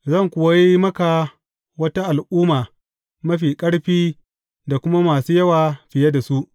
Zan kuwa yi maka wata al’umma mafi ƙarfi da kuma masu yawa fiye da su.